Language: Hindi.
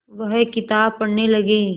वह किताब पढ़ने लगे